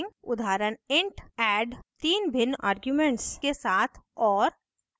उदाहरण int add तीन भिन्न आर्ग्यूमेंट्स के साथ और